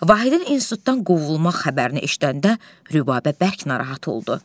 Vahidin institutdan qovulmaq xəbərini eşidəndə Rübabə bərk narahat oldu.